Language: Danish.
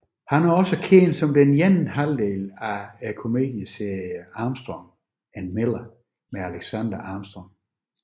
Han er også kendt som den ene halvdel af komedieserien Armstrong and Miller med Alexander Armstrong